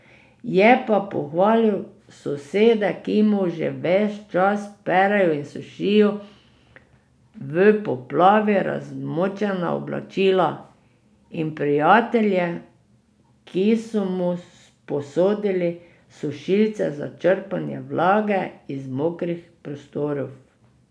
Je pa pohvalil sosede, ki mu že ves čas perejo in sušijo v poplavi razmočena oblačila, in prijatelje, ki so mu posodili sušilce za črpanje vlage iz mokrih prostorov.